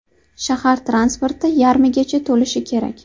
Shahar transporti yarmigacha to‘lishi kerak.